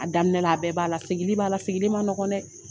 A daminɛ la a bɛɛ b'a la sigili b'a la sigili ma nɔgɔ dɛ